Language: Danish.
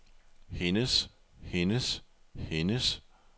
hendes hendes hendes